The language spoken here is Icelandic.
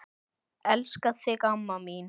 Elska þig amma mín.